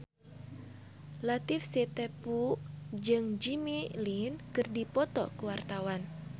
Latief Sitepu jeung Jimmy Lin keur dipoto ku wartawan